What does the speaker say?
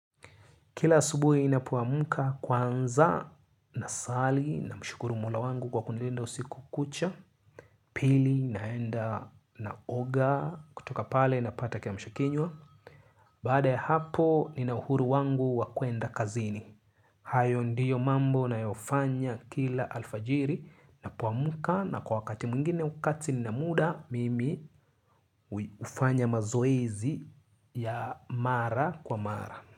Kila asubuhi ninapoamka kwanza na sali na mshukuru mola wangu kwa kunilinda usiku kucha. Pili naenda na oga kutoka pale na pata kia mshakinywa. Baada ya hapo nina uhuru wangu wa kwenda kazini hayo ndiyo mambo na yofanya kila alfajiri na poamka na kwa wakati mwingine wakati nina muda mimi hufanya mazoezi ya mara kwa mara.